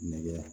Nɛgɛ